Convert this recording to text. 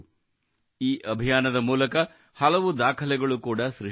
ಈ ಅಭಿಯಾನದ ಮೂಲಕ ಹಲವು ದಾಖಲೆಗಳು ಕೂಡಾ ಸೃಷ್ಟಿಯಾಗಿವೆ